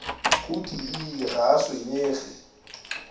go tiile ga a tshwenyege